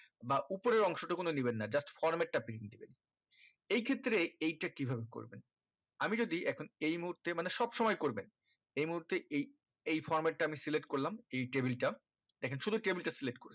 বা উপরের অংশ টুকুন ও নিবেন না just format টা print দিবেন এই ক্ষেত্রে এই টা কিভাবে করবেন আমি যদি এখন এই মুহূর্তে মানে সব সময় করবেন এই মুহূর্তে এই এই format টা আমি select করলাম এই table টা এখানে শুধু table টা select করি